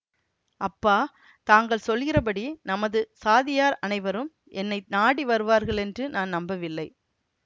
அப்பா தாங்கள் சொல்கிறபடி நமது சாதியார் அனைவரும் என்னை நாடி வருவார்களென்று நான் நம்பவில்லை